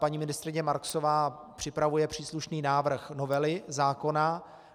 Paní ministryně Marksová připravuje příslušný návrh novely zákona.